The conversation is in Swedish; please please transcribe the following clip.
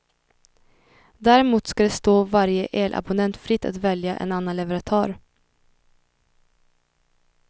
Däremot ska det stå varje elabonnent fritt att välja en annan leverantör.